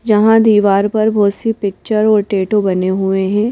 जहां दीवार पर बहुत सी पिक्चर और टैटो बने हुए हैं।